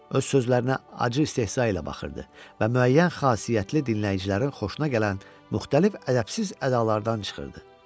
Öz sözlərinə acı istehza ilə baxırdı və müəyyən xassiyyətli dinləyicilərin xoşuna gələn müxtəlif ədəbsiz ədalardan çıxırdı.